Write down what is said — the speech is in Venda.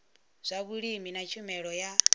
zwa vhulimi na tshumelo ya